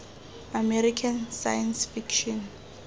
american science fiction